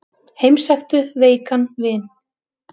Heimsæktu veikan vin.